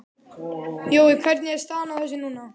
Jón, hvernig er staðan á þessu núna?